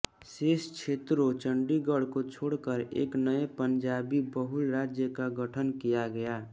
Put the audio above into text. शेष क्षेत्रों चंडीगढ़ को छोड़कर एक नए पंजाबी बहुल राज्य का गठन किया गया